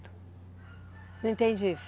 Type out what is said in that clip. Não entendi.